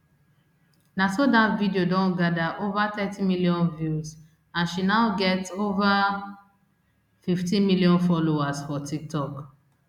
na so dat video don gada ova thirty million views and she now get ova fifteen million followers for tiktok